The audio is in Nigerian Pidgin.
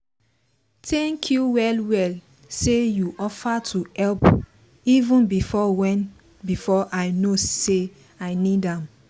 thank you well well say you offer to help even before even before i know sey i need am